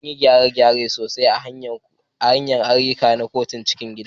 Anyi gyare-gyare sosai a hanyar ayyuka na kotun cikin gida